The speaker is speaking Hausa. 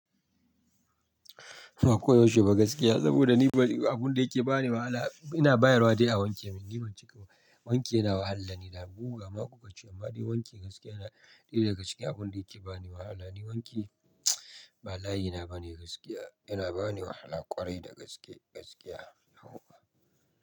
Ba koyaushe ba gaskiya saboda ni abun da yake bani wahala ina bayarwa dai a wanke, ni ban cika ba. Wanki yana wahala ni da buga maƙogacchi amma dai wanki gaskiya na ɗera gaskiya abun da yake bani wahala. Ni wanki ba layi na bane gaskiya, yana bani wahala ƙwarai da gaskiya, yahuwa.